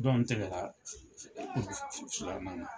Dɔ in tɛgɛ na.